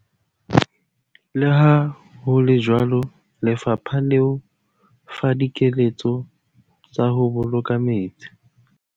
Leha ho le jwalo lefapha le o fa dikeletso tsa ho boloka metsi.